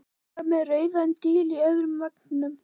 Hún var með rauðan díl í öðrum vanganum.